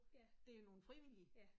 Ja. Ja